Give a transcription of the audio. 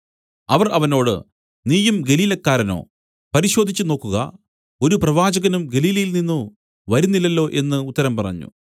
അവർ അവനോട് നീയും ഗലീലക്കാരനോ പരിശോധിച്ചുനോക്കുക ഒരു പ്രവാചകനും ഗലീലയിൽ നിന്നു വരുന്നില്ലല്ലോ എന്നു ഉത്തരം പറഞ്ഞു